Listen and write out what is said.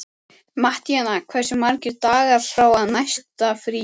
Mattíana, hversu margir dagar fram að næsta fríi?